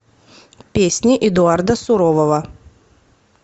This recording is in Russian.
песни эдуарда сурового